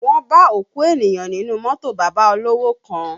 Wọ́n bá òkú ènìyàn nínú mọ́tò bàbá olówò kan